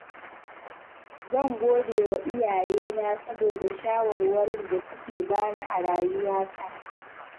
Zan gode wa iyayena saboda shawarwarin da suka bani a rayuwata.